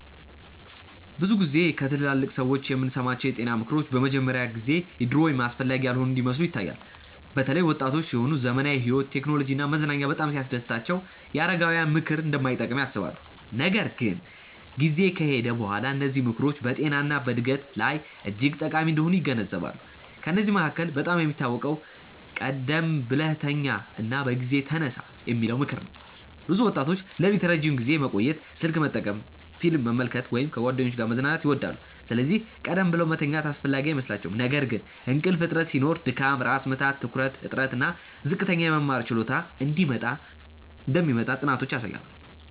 ብዙ ጊዜ ከትላልቅ ሰዎች የምንሰማቸው የጤና ምክሮች በመጀመሪያ ጊዜ የድሮ ወይም አስፈላጊ ያልሆኑ እንደሚመስሉ ይታያል። በተለይ ወጣቶች ሲሆኑ ዘመናዊ ሕይወት፣ ቴክኖሎጂ እና መዝናኛ በጣም ሲያስደስታቸው የአረጋውያን ምክር እንደማይጠቅም ያስባሉ። ነገር ግን ጊዜ ከሄደ በኋላ እነዚህ ምክሮች በጤና እና በዕድገት ላይ እጅግ ጠቃሚ እንደሆኑ ይገነዘባሉ። ከእነዚህ መካከል በጣም የሚታወቀው “ቀደም ብለህ ተኛ እና በጊዜ ተነሳ” የሚለው ምክር ነው። ብዙ ወጣቶች ሌሊት ረዥም ጊዜ መቆየት፣ ስልክ መጠቀም፣ ፊልም መመልከት ወይም ከጓደኞች ጋር መዝናናት ይወዳሉ፤ ስለዚህ ቀደም ብለው መተኛት አስፈላጊ አይመስላቸውም። ነገር ግን እንቅልፍ እጥረት ሲኖር ድካም፣ ራስ ምታት፣ ትኩረት እጥረት እና ዝቅተኛ የመማር ችሎታ እንደሚመጣ ጥናቶች ያሳያሉ